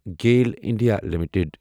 GAIL India limited